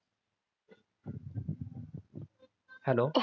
Hello.